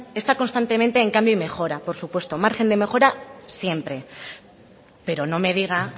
está constantemente en cambio y mejora por supuesto margen de mejora siempre pero no me diga